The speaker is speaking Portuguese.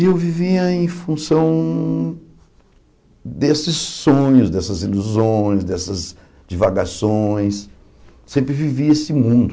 E eu vivia em função desses sonhos, dessas ilusões, dessas divagações, sempre vivi esse mundo.